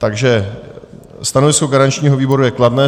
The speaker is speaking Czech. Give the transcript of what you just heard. Takže stanovisko garančního výboru je kladné.